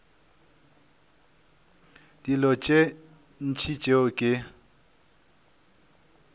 dilo tše ntši tšeo ke